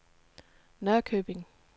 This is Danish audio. Norrköping